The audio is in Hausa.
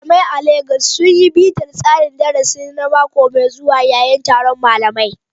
Malamai a Legas sun yi bitar tsarin darasi na mako mai zuwa yayin taron malamai.